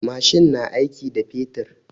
Mashin na aiki da fetur.